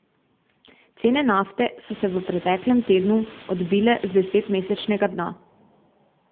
Cene nafte so se v preteklem tednu odbile z desetmesečnega dna.